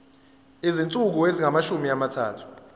izinsuku ezingamashumi amathathu